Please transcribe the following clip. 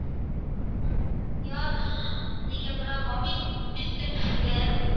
okay வா அதுக்கப்பறம் barbies biscuits இருக்கு